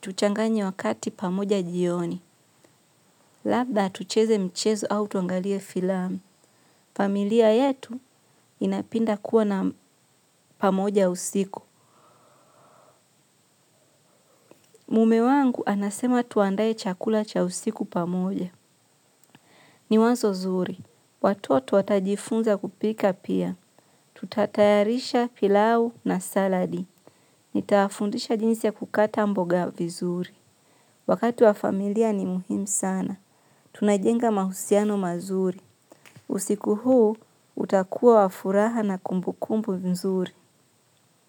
tuchanganye wakati pamoja jioni. Labda tucheze mchezo au tuangalie filamu. Familia yetu inapinda kuwa na pamoja usiku. Mume wangu anasema tuandaye chakula cha usiku pamoja. Ni wazo zuri. Watoto watajifunza kupika pia. Tutatayarisha pilau na saladi. Nitawafundisha jinsi ya kukata mboga vizuri. Wakati wa familia ni muhimu sana. Tunajenga mahusiano mazuri. Usiku huu, utakua wa furaha na kumbu kumbu vizuri.